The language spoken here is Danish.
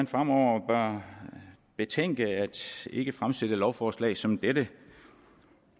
fremover bør betænke ikke at fremsætte lovforslag som dette